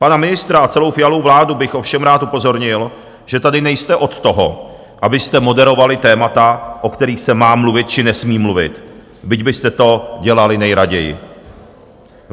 Pana ministra a celou Fialu vládu bych ovšem rád upozornil, že tady nejste od toho, abyste moderovali témata, o kterých se má mluvit či nesmí mluvit, byť byste to dělali nejraději.